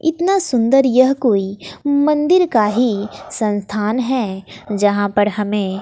इतना सुंदर यह कोई मंदिर का ही संस्थान है यहां पर हमें--